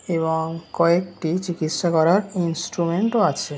এবং কয়েকটি চিকিৎসা করার ইনস্ট্রুমেনট ও আছে।